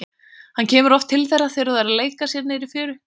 Hann kemur oft til þeirra þegar þau leika sér niðri í fjöru.